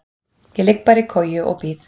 Ég ligg bara í koju og bíð.